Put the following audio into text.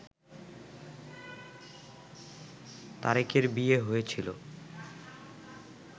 তারেকের বিয়ে হয়েছিল